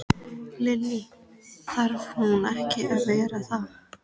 Lillý: Þarf hún ekki að vera það?